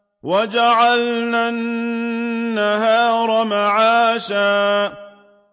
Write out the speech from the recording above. وَجَعَلْنَا النَّهَارَ مَعَاشًا